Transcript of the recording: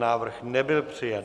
Návrh nebyl přijat.